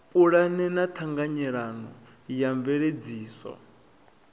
pulane ya ṱhanganelano ya mveledziso